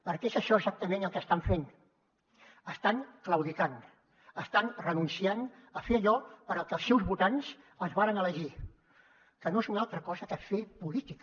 perquè és això exactament el que estan fent estan claudicant estan renunciant a fer allò per al que els seus votants els varen elegir que no és una altra cosa que fer política